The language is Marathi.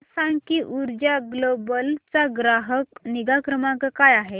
मला सांग की ऊर्जा ग्लोबल चा ग्राहक निगा क्रमांक काय आहे